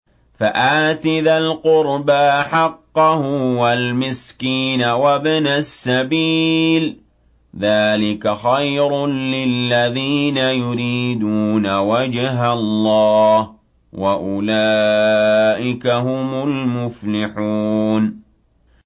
فَآتِ ذَا الْقُرْبَىٰ حَقَّهُ وَالْمِسْكِينَ وَابْنَ السَّبِيلِ ۚ ذَٰلِكَ خَيْرٌ لِّلَّذِينَ يُرِيدُونَ وَجْهَ اللَّهِ ۖ وَأُولَٰئِكَ هُمُ الْمُفْلِحُونَ